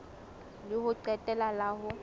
la ho qetela la ho